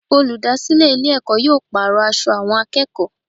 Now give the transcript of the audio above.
Olùdásílè Ilé èkó yóò pàrò aṣọ àwọn akéèkòó